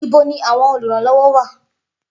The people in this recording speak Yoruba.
Ibo ni àwọn olùrànlọ́wọ́ wà?